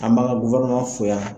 An b'an ka fo yan.